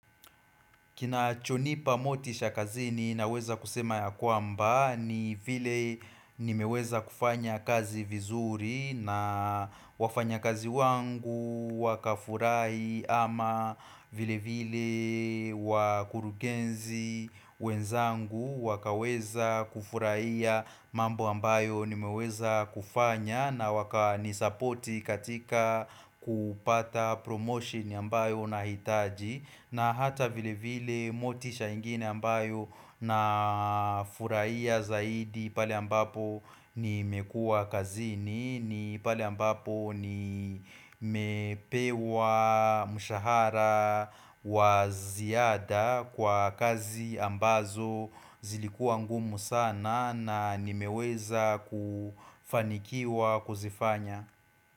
Kina chonipa motisha kazini naweza kusema ya kwamba ni vile nimeweza kufanya kazi vizuri na wafanya kazi wangu wakafurahi ama vile vile wakurungenzi wenzangu wakaweza kufurahia mambo ambayo nimeweza kufanya na waka nisapoti katika kupata promotion ambayo nahitaji na hata vile vile motisha ingine ambayo na furahia zaidi pale ambapo nimekuwa kazini ni pale ambapo ni mepewa mshahara wa ziada kwa kazi ambazo zilikuwa ngumu sana na nimeweza kufanikiwa kuzifanya.